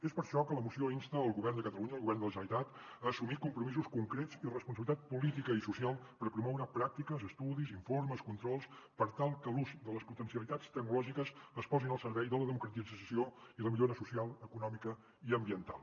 és per això que la moció insta el govern de catalunya el govern de la generalitat a assumir compromisos concrets i responsabilitat política i social per promoure pràctiques estudis informes controls per tal que l’ús de les potencialitats tecnològiques es posi al servei de la democratització i la millora social econòmica i ambiental